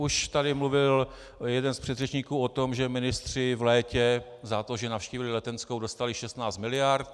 Už tady mluvil jeden z předřečníků o tom, že ministři v létě za to, že navštívili Letenskou, dostali 16 miliard.